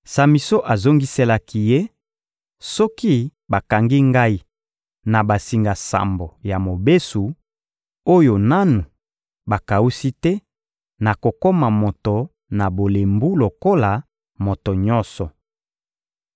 Samison azongiselaki ye: — Soki bakangi ngai na basinga sambo ya mobesu, oyo nanu bakawusi te, nakokoma moto na bolembu lokola moto nyonso.